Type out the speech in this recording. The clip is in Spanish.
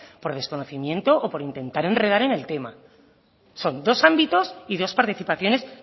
por desconocimiento o por intentar enredar en el tema son dos ámbitos y dos participaciones